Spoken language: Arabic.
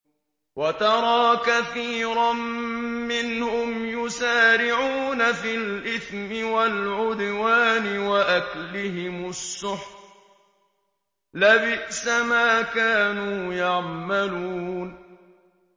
وَتَرَىٰ كَثِيرًا مِّنْهُمْ يُسَارِعُونَ فِي الْإِثْمِ وَالْعُدْوَانِ وَأَكْلِهِمُ السُّحْتَ ۚ لَبِئْسَ مَا كَانُوا يَعْمَلُونَ